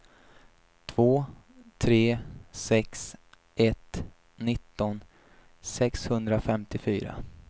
två tre sex ett nitton sexhundrafemtiofyra